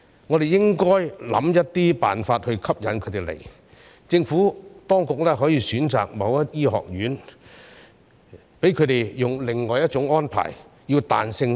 我們應該設法吸引他們前來，政府當局可以選擇某些學院，讓他們以另外一種安排，比較彈性的處理。